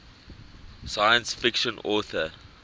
science fiction author